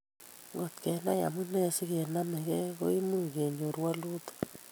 "Ngot kenai amunee sikenamgei ko imuuch kenyoru walutik ",